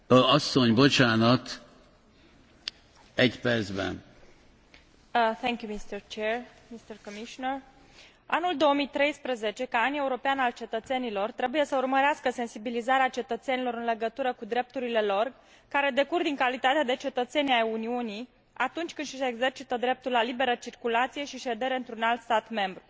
Anul 2013 ca An European al Cetățenilor trebuie să urmărească sensibilizarea cetățenilor în legătură cu drepturile lor, care decurg din calitatea de cetățeni ai Uniunii, atunci când își exercită dreptul la liberă circulație și ședere într un alt stat membru, de exemplu ca studenți lucrători, persoane aflate în căutarea unui loc de muncă, voluntari, consumatori, întreprinzători tineri sau pensionari.